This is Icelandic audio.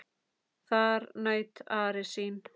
Þar naut Ari sín.